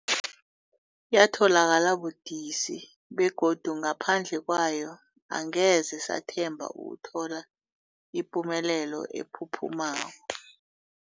Yatholakala budisi, begodu ngaphandle kwayo angeze sathemba ukuthola ipumelelo ephuphumako.